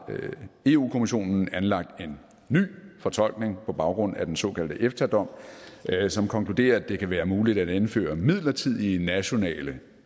eu kommissionen anlagt en ny fortolkning på baggrund af den såkaldte efta dom som konkluderer at det kan være muligt at indføre midlertidige nationale